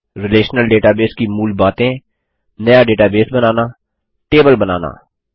relational database की मूल बातें नया डेटाबेस बनाना टेबल बनाना